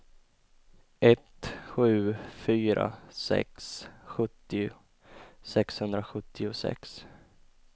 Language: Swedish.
ett sju fyra sex sjuttio sexhundrasjuttiosex